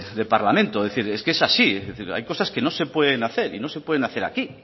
de parlamento es decir es que es así hay cosas que no se pueden hacer y no se pueden hacer aquí